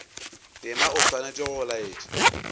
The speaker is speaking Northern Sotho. tema o swanetše go laetša